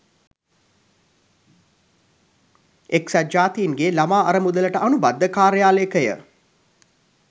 එක්සත් ජාතින්ගේ ළමා අරමුදලට අනුබද්ධ කාර්යාලයකය.